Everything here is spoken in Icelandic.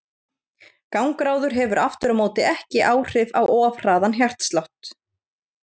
Gangráður hefur aftur á móti ekki áhrif á of hraðan hjartslátt.